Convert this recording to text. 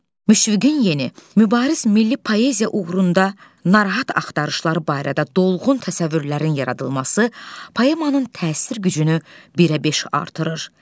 Müşfiqin yeni, mübariz milli poeziya uğrunda narahat axtarışları barədə dolğun təsəvvürlərin yaradılması poemanın təsir gücünü birə beş artırır.